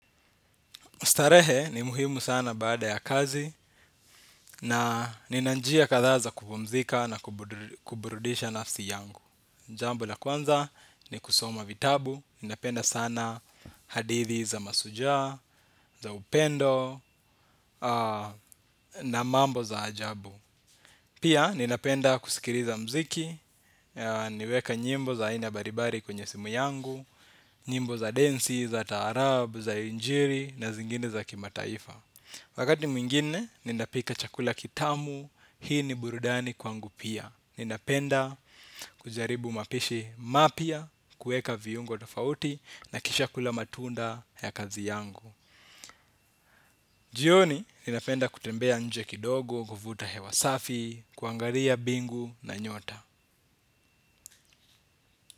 Starehe ni muhimu sana baada ya kazi na na nina njia kadhaa za kupumzika na kuburudisha nafsi yangu. Jambo la kwanza ni kusoma vitabu, ninapenda sana hadithi za mashujaa, za upendo na mambo za ajabu. Pia ninapenda kusikiriza muziki, niweke nyimbo za aina mbarimbari kwenye simu yangu, nyimbo za densi, za taarabu, za injiri na zingine za kimataifa. Wakati mwingine, ninapika chakula kitamu, hii ni burudani kwangu pia. Ninapenda kujaribu mapishi mapya, kuweka viungo tofauti na kisha kula matunda ya kazi yangu. Jioni, ninapenda kutembea nje kidogo, kuvuta hewa safi, kuangaria mbingu na nyota.